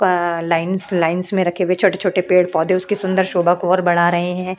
प lines lines में रखे गए छोटे छोटे पेड़ पौधे उसके सुन्दर शोभा को और बढ़ा रहे है --